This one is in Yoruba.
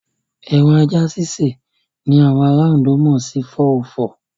Ẹran ajá sísè ni àwọn ará Ondo mọ̀ sí 404.